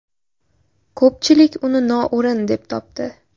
Ko‘pchilik uni noo‘rin deb topdi.